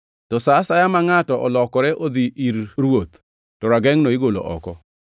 To sa asaya ma ngʼato olokore odhi ir Ruoth to ragengʼno igolo oko.